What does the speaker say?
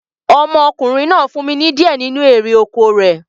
Ọmọkùnrin náà fún mi ní di ẹ nínu erè oko rẹ̀